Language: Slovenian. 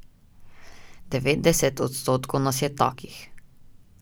Devetdeset odstotkov nas je takih.